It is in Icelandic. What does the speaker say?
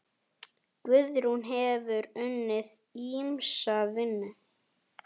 Guðrún hefur unnið ýmsa vinnu.